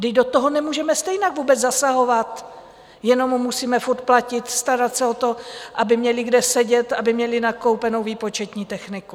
Vždyť do toho nemůžeme stejně vůbec zasahovat, jenom mu musíme furt platit, starat se o to, aby měli kde sedět, aby měli nakoupenou výpočetní techniku.